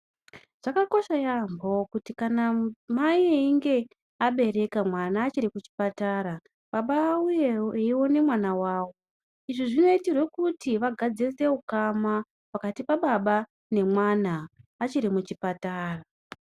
Zvakakosha yaambo kuti kana mai einge abereka mwana achiri kuchipatara, baba auye eione mwana wavo. Izvi zvinoitirwe kuti vagadzirise ukama pakati pababa nemwana achiri kuchipatara.